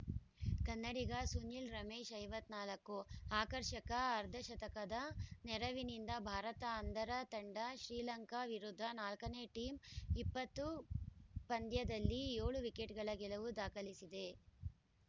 ಕನ್ನಡಿಗ ಸುನಿಲ್‌ ರಮೇಶ್‌ ಐವತ್ತ್ ನಾಲ್ಕು ಆರ್ಕರ್ಷಕ ಅರ್ಧಶತಕದ ನೆರವಿನಿಂದ ಭಾರತ ಅಂಧರ ತಂಡ ಶ್ರೀಲಂಕಾ ವಿರುದ್ಧ ನಾಲ್ಕು ನೇ ಟಿ ಇಪ್ಪತ್ತು ಪಂದ್ಯದಲ್ಲಿ ಏಳು ವಿಕೆಟ್‌ಗಳ ಗೆಲುವು ದಾಖಲಿಸಿದೆ